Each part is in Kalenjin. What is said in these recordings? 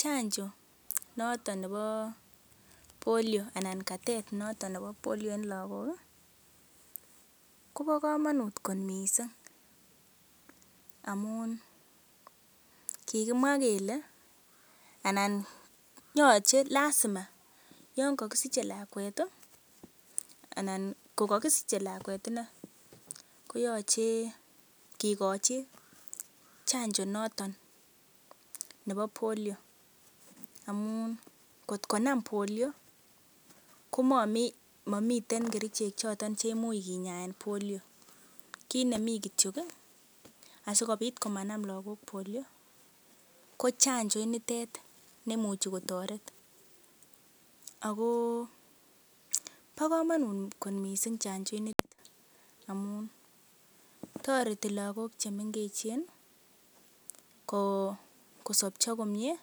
Chanjo noton nebo Polio anan katet noton nebo Polio en lagok kobo komonut kot mising amun kigimwa kele, anan lazima yon kogisiche lakwet anan kogokisiche lakwet inei, koyoche kigochi chanjo noton nebo polio amun kotkonam polio komamiten kerichek choton cheimuch kinyaen polio kit nemi kityo asikobit komanam lagok polio ko chanjo initet emuchi kotoret ago bo komonut kot mising chanjo inito amun toreti lagok chemengechen kosobcho komyee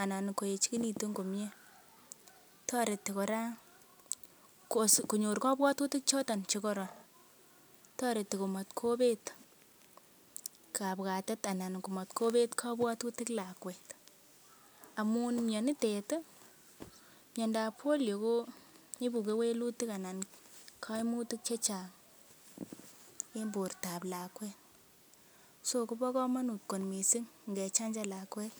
anan koechegitun komye. Toreti kora konyor kabwatutik choton che koron toreti kamat kobet kabwatet anan kobet kabwatutik lakwet amun mianitet ii, miandab polio ko ibu kewelutik anan koimutik che chang en bortab lakwet, so kobo komonut kot mising ngechanjan lakwet.